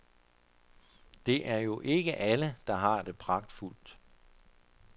Det er jo ikke alle, der har det pragtfuldt.